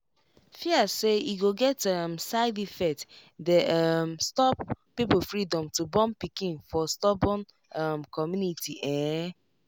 fear say e go get um side effect dey um stop people freedom to born pikin for storbun um community ehn